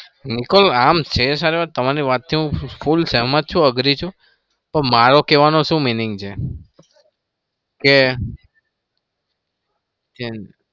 નિકોલ છે આમ છે સારો તમારી વાતથી હું full સહેમત છું. agree છું. પણ મારો કેવાનો શું meaning છે કે